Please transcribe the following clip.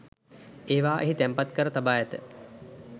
ඒවා එහි තැන්පත් කර තබා ඇත